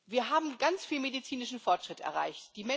Wir haben ganz viel medizinischen Fortschritt erreicht.